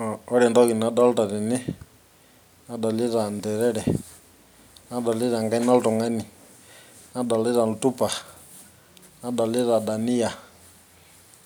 Oh ore entoki nadolta tene nadolita interere nadolita enkaina oltung'ani nadolita oltupa nadolita daniyia